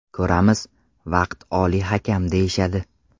Ko‘ramiz, vaqt oliy hakam deyishadi.